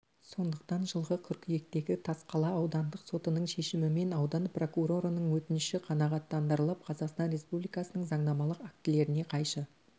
сондықтан жылғы қыркүйектегі тасқала аудандық сотының шешімімен аудан прокурорының өтініші қаңағаттандырылып қазақстан республикасының заңнамалық актілеріне қайшы